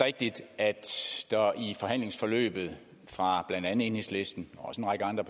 rigtigt at der i forhandlingsforløbet fra blandt andet enhedslistens og også en række andre